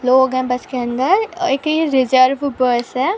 लोग है बस के अंदर एक ही रिज़र्व बस है।